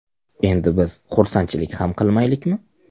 Endi biz xursandchilik ham qilmaylikmi?